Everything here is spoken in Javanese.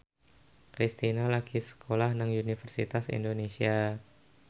Kristina lagi sekolah nang Universitas Indonesia